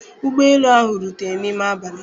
Ụgbọ elu ahụ rutere n'ime abalị